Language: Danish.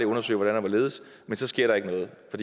undersøge hvordan og hvorledes og så sker der ikke noget for